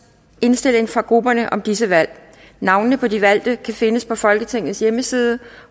indstilling fra grupperne om disse valg navnene på de valgte kan findes på folketingets hjemmeside